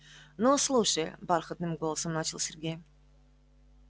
ну слушай бархатным голосом начал сергей